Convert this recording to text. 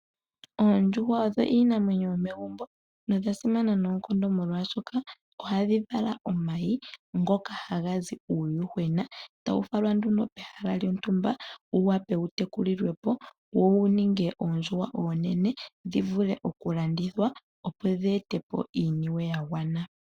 Oondjuhwa odho iinamwenyo yomegumbo nodha simana noonkondo, molwashoka ohadhi vala omayi ngoka haga zi uuyuhwena, e tawu falwa nduno pehala lyontumba, wu wape wu tekulilwe po wo wu ninge oondjuhwa oonene dhi vule okulandithwa, opo dhi ete po iiniwe ya gwana.